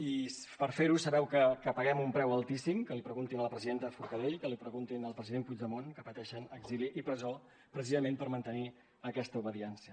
i per fer ho sabeu que paguem un preu altíssim que l’hi preguntin a la presidenta forcadell que l’hi preguntin al president puigdemont que pateixen exili i presó precisament per mantenir aquesta obediència